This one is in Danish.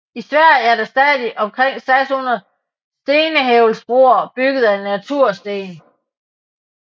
I Sverige er der stadig omkring 600 stenhvælvsbroer bygget af natursten